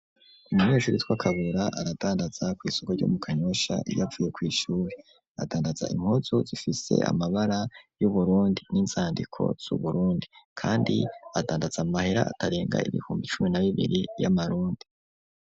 Umunyeshuri witwa Kabura aradandaza ku isoko ryomu kanyosha yapfuye ku ishuri adandaza impuzu zifise amabara yu Burundi n'inzandiko zu Burundi kandi adandaza amahera akarenga ibihumbi cumi na bibiri y'amarundi.